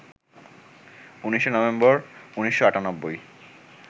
১৯শে নভেম্বর, ১৯৯৮